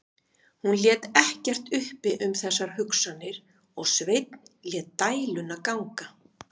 Hún lét ekkert uppi um þessar hugsanir og Sveinn lét dæluna ganga.